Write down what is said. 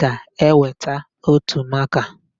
ga-eweta ótù makaa.